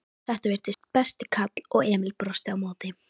Þetta virtist besti karl og Emil brosti á móti.